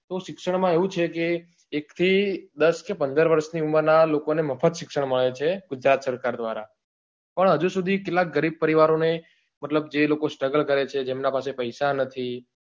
શિક્ષણ માં એવું છે કે એક થી દસ કે પંદર વર્ષ ની ઉમર નાં લોકો ને મફત શિક્ષણ મળે છે ગુજરાત સરકાર દ્વારા પણ હજુ સુધી કેટલાક ગરીબ પરિવારો ને મતલબ જે લોકો struggle કરે છે જેમના પાસે પૈસા નથી